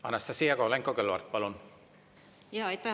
Anastassia Kovalenko-Kõlvart, palun!